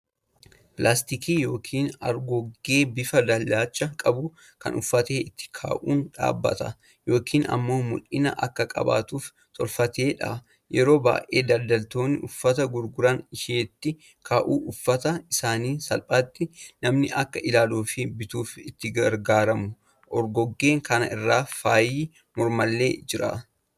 Pilaastikii yookiin argoggee bifa dalacha qabdu kan uffata itti kaa'un dhaabbata yookiin ammoo mul'ina akka qabaattufi tolfamteedha. Yeroo baay'ee daldaltoonni uffata gurguran isheetti kaa'uun uuffata isaanii salphaatti nami akka ilaaaluufii bituuf itti gargaaramu. argoggee kana irra faayi mormaallee jira.